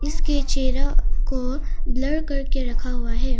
इसके चेहरा को ब्लर करके रखा हुआ है।